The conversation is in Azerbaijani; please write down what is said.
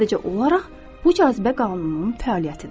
Sadəcə olaraq bu cazibə qanununun fəaliyyətidir.